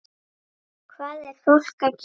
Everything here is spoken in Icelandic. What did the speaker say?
Hvað er fólk að gera?